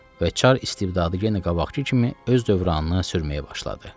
Və çar istibdadı yenə qabaqkı kimi öz dövranını sürməyə başladı.